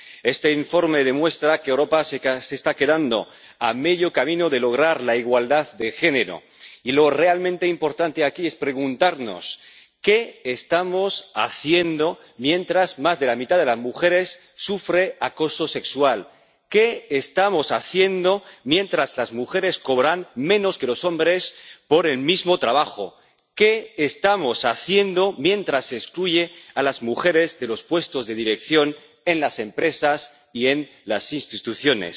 Este informe demuestra que Europa se está quedando a medio camino de lograr la igualdad de género, y lo realmente importante aquí es preguntarnos qué estamos haciendo mientras más de la mitad de las mujeres sufre acoso sexual, qué estamos haciendo mientras las mujeres cobran menos que los hombres por el mismo trabajo, qué estamos haciendo mientras se excluye a las mujeres de los puestos de dirección en las empresas y en las instituciones.